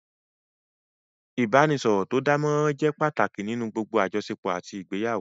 Ìbáraẹnisọ̀rọ̀ tó dánmọrán jẹ́ pàtàkì nínú gbogbo àjọṣepọ̀ àti ìgbéyàwó